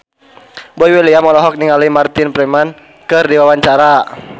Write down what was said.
Boy William olohok ningali Martin Freeman keur diwawancara